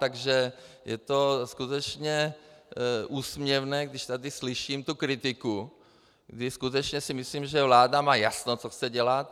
Takže je to skutečně úsměvné, když tady slyším tu kritiku, kdy skutečně si myslím, že vláda má jasno, co chce dělat.